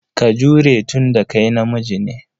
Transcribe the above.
Ka jure tun da ka namiji ne.